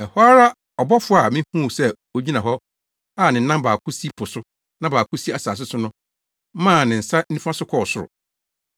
Ɛhɔ ara ɔbɔfo a mihuu sɛ ogyina hɔ a ne nan baako si po so na baako si asase so no maa ne nsa nifa so kɔɔ soro,